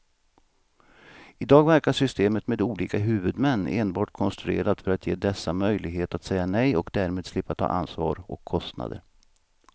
I dag verkar systemet med olika huvudmän enbart konstruerat för att ge dessa möjlighet att säga nej och därmed slippa ta ansvar och kostnader.